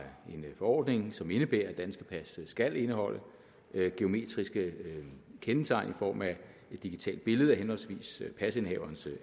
en forordning som indebærer at danske pas skal indeholde biometriske kendetegn i form af et digitalt billede af henholdsvis pasindehaverens